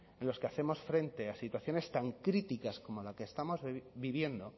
en los que hacemos frente a situaciones tan críticas como la que estamos viviendo